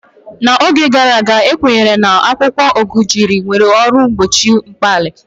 N'oge gara aga, a kwenyere na akwụkwọ Gurjiya nwere uru mgbochi mkpali.